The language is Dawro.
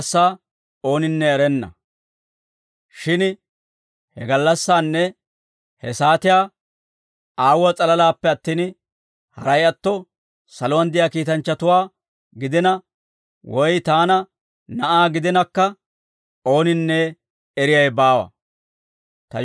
«Shin he gallassaanne he saatiyaa Aawuwaa s'alalaappe attin, haray atto saluwaan de'iyaa kiitanchchatuwaa gidina, woy taana Na'aa gidinakka ooninne eriyaawe baawa.